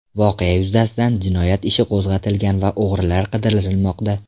Voqea yuzasidan jinoyat ishi qo‘zg‘atilgan va o‘g‘rilar qidirilmoqda.